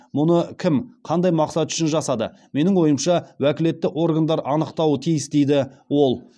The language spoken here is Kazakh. мұны кім қандай мақсат үшін жасады менің ойымша уәкілетті органдар анықтауы тиіс дейді ол